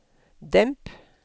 demp